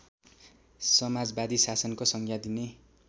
समाजवादी शासनको संज्ञा दिने